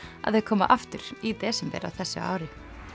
að þau koma aftur í desember á þessu ári